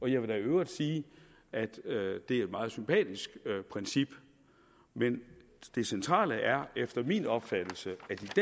jeg vil i øvrigt sige at det er et meget sympatisk princip men det centrale er efter min opfattelse